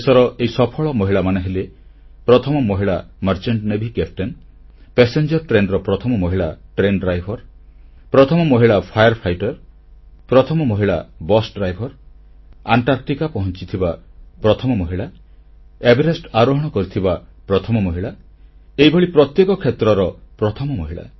ଦେଶର ଏହି ସଫଳ ମହିଳାମାନେ ହେଲେ ପ୍ରଥମ ମହିଳା ଗର ମର୍ଚେଣ୍ଟ ନେଭି କପ୍ତାନ ପାସେଞ୍ଜର ଟ୍ରେନର ପ୍ରଥମ ମହିଳା ଡ୍ରାଇଭର ବା ଚାଳକ ପ୍ରଥମ ମହିଳା ଅଗ୍ନି ନିର୍ବାପକ ପ୍ରଥମ ମହିଳା ବସ୍ ଡ୍ରାଇଭର ଆଣ୍ଟାର୍କଟିକା ପହଂଚିଥିବା ପ୍ରଥମ ମହିଳା ଏଭରେଷ୍ଟ ଆରୋହଣ କରିଥିବା ପ୍ରଥମ ମହିଳା ଏହିଭଳି ପ୍ରତ୍ୟେକ କ୍ଷେତ୍ରର ପ୍ରଥମ ମହିଳା